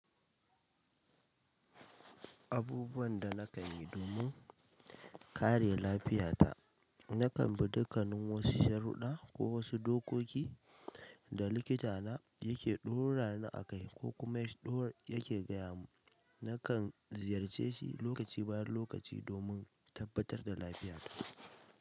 Abubuwan da na kan yi domin kare lafiyata, na kan bi dukkanin wasu sharuɗa ko wasu dokoki da likita na yake ɗora ni a kai ko kuma ya do ya ke gaya mun. Na kan ziyarce shi lokaci bayan lokaci domin tabbatar da lafiyata.